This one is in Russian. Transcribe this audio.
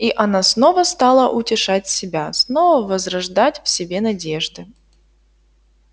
и она снова стала утешать себя снова возрождать в себе надежды